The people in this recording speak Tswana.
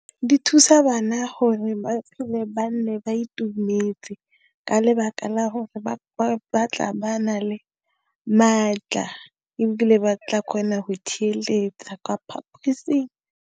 Di thusa bana gore ba phele ba nne ba itumetse, ka lebaka la gore ba batla ba na le maatla, ebile ba tla kgona go theeletša kapa e seng.